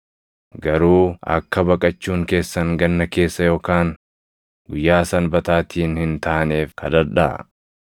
Garuu akka baqachuun keessan ganna keessa yookaan Guyyaa Sanbataatiin hin taaneef kadhadhaa.